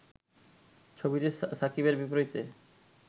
ছবিতে সাকিবের বিপরীতে